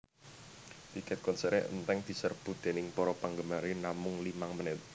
Tiket konseré enteng deserbu déning para panggemare namung limang menit